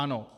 Ano.